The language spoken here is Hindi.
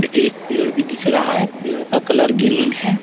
एक पेड़ भी दिख रहा है पेड़ का कलर ग्रीन है।